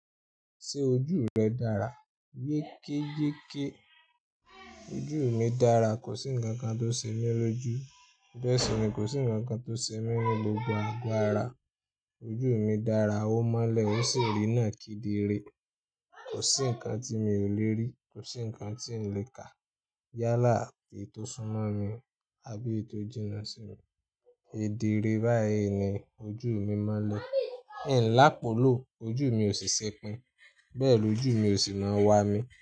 Ṣé ojú rẹ dára? Yékéyéké ìdíì mi dára. Kò sí nǹkan kan tóṣe mí lójú. Bẹ́ẹ̀ sì ni kò sí nǹkan kan tóse mí ní gbogbo àgọ́ ara. Ojú mi dára, ó mọ́lẹ̀ ó sì rínà kedere. Kò sí nǹkan tí mi ò le rí, kò sí nǹkan tí ǹ le kà yálà èyí tó súnmọ́ mi àbí èyí tó jìnnà sí mi. Kedere báyìí ni ojúù mi mọ́lẹ̀. Iǹ lápólò ojú mi ò sì sẹpin. Bẹ́ẹ̀ lo ojú mi ò sì máa wa mi.